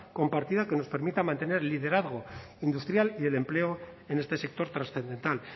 compartida que nos permita mantener el liderazgo industrial y el empleo en este sector trascendental